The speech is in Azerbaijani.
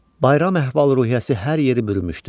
Bayram əhval-ruhiyyəsi hər yeri bürümüşdü.